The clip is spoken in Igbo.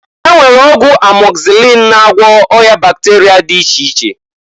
E nwere ọgwụ amọgzịlịn na-agwọ ọya bakterịa dị iche iche.